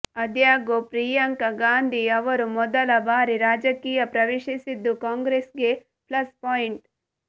ಆದಾಗ್ಯೂ ಪ್ರಿಯಾಂಕಾ ಗಾಂಧಿ ಅವರು ಮೊದಲ ಬಾರಿ ರಾಜಕೀಯ ಪ್ರವೇಶಿಸಿದ್ದು ಕಾಂಗ್ರೆಸ್ಗೆ ಪ್ಲಸ್ ಪಾಯಿಂಟ್